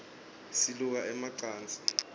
siluka ema cansi